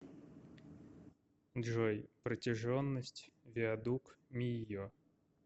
джой протяженность виадук мийо